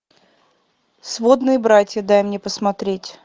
сводные братья дай мне посмотреть